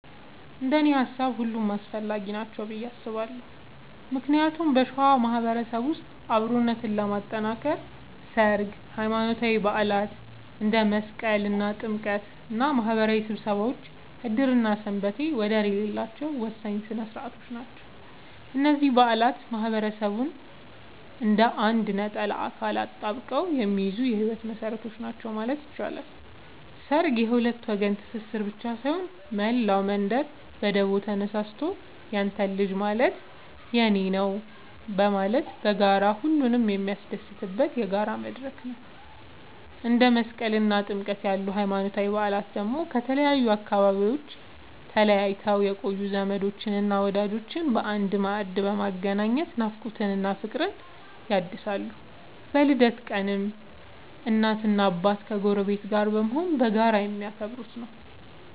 እንደኔ ሃሳብ ሁሉም አስፈላጊ ናቸው ብዬ አስባለሁ ምክንያቱም በሸዋ ማህበረሰብ ውስጥ አብሮነትን ለማጥከር ሠርግ፣ ሃይማኖታዊ በዓላት እንደ መስቀልና ጥምቀት እና ማህበራዊ ስብሰባዎች ዕድርና ሰንበቴ ወደር የሌላቸው ወሳኝ ሥነ ሥርዓቶች ናቸው። እነዚህ በዓላት ማህበረሰቡን እንደ አንድ ነጠላ አካል አጣብቀው የሚይዙ የህይወት መሰረቶች ናቸው ማለት ይቻላል። ሠርግ የሁለት ወገን ትስስር ብቻ ሳይሆን፣ መላው መንደር በደቦ ተነሳስቶ ያንተ ልጅ ማለት የኔ ነዉ በማለት በጋራ ሁሉንም የሚያስደስትበት የጋራ መድረክ ነው። እንደ መስቀልና ጥምቀት ያሉ ሃይማኖታዊ በዓላት ደግሞ ከተለያዩ አካባቢዎች ተለይተው የቆዩ ዘመዶችንና ወዳጆችን በአንድ ማዕድ በማገናኘት ናፍቆትን እና ፍቅርን ያድሳሉ። በልደት ቀንም እናትና አባት ከጎረቤት ጋር በመሆን በጋራ የሚያከብሩት ነዉ።